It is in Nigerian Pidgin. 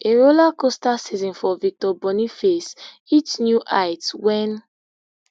a rollercoaster season for victor boniface hit new heights wen